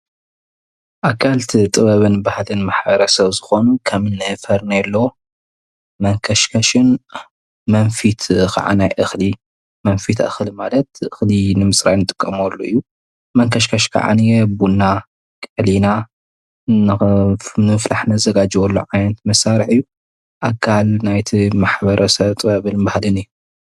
ኣካል እቲ ጥበብን ባህልን ማሕበረሰብ ዝኾኑ ከምኒ ፌርኔሎ፣ መንከሽከሽን ፣ መንፈት ከዓ ናይ እኽሊ ማለት እኽሊ ንምፅራይ ንጥቀመሉ እዩ፡፡ መንከሽከሽ ኸዓንየ ቡና ቀሊና ንምፍላሕ ነዘጋጅወሉ ዓይነት መሳርሒ እዩ፡፡ ኣካል ናይቲ ማሕበረሰብ ጥበብን ባህልን እዩ፡፡